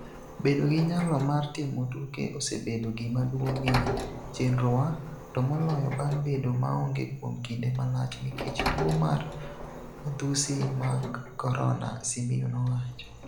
Bedo gi nyalo mar timo tuke osebedo gima duong' e chenrowa, to moloyo bang' bedo maonge kuom kinde malach nikech tuo mar madhusi mag Corona", Simiyu nowacho.